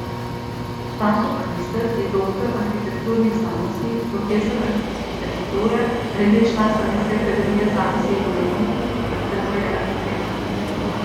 Stanko Kristl je doktor arhitekturnih znanosti, profesor arhitekture, redni član Slovenske akademije znanosti in umetnosti, predvsem pa je arhitekt.